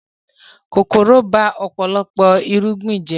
Kòkòrò ba ọ̀pọ̀lọpọ̀ irúgbìn jẹ́